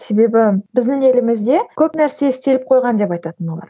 себебі біздің елімізде көп нәрсе істеліп қойған деп айтатын олар